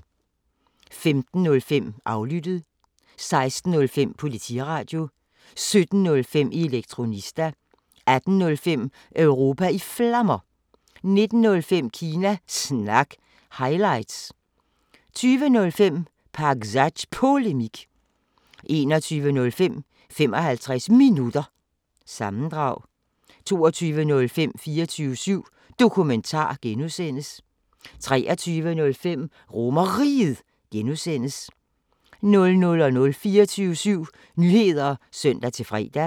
15:05: Aflyttet 16:05: Politiradio 17:05: Elektronista 18:05: Europa i Flammer 19:05: Kina Snak – highlights 20:05: Pakzads Polemik 21:05: 55 Minutter – sammendrag 22:05: 24syv Dokumentar (G) 23:05: RomerRiget (G) 00:00: 24syv Nyheder (søn-fre)